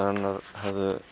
hennar hefðu